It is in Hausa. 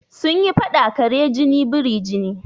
Sun yi faɗa "kare jini biri jini"